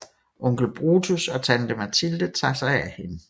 Onkel Brutus og tante Mathilde tager sig af hende